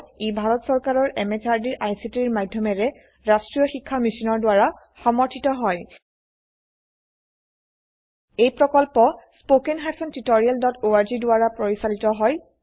ই ভাৰত চৰকাৰৰ MHRDৰ ICTৰ মাধয়মেৰে ৰাস্ত্ৰীয় শিক্ষা মিছনৰ দ্ৱাৰা সমৰ্থিত হয় এই প্ৰকল্প httpspoken tutorialorg দ্বাৰা পৰিচালিত হয়